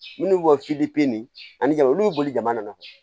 Minnu bɛ bɔ ni ani jama olu bɛ boli jamana na